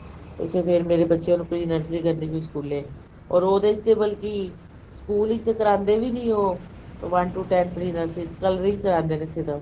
ਉੱਥੇ ਫੇਰ ਮੇਰੇ ਬੱਚਿਆ ਨੰ pre nursery ਕਰਨੀ ਪਈ ਸਕੂਲੇ or ਉਹਦੇ ਵਿਚ ਬਲਕਿ ਸਕੂਲ ਵਿੱਚ ਤਾਂ ਕਰਵਾਂਦੇ ਵੀ ਨੀ ਉਹ one two ten pre nursery ਚ coloring ਕਰਵਾਂਦੇ ਨੇ ਸਿਰਫ